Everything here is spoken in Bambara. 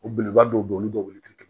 O belebeleba dɔw bɛ yen olu bɛ wuli ka tɛmɛ